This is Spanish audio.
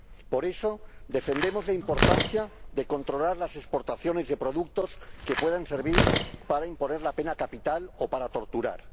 Por eso, defendemos la importancia de controlar las exportaciones de productos que puedan servir para imponer la pena capital o para torturar.